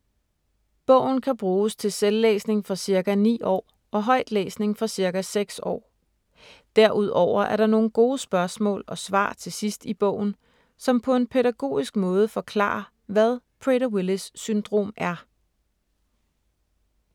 Bogen kan bruges til selvlæsning fra ca. 9 år, og højtlæsning fra ca. 6 år. Derudover er der nogle gode spørgsmål og svar til sidst i bogen, som på en pædagogisk måde forklarer, hvad Prader-Willis syndrom er.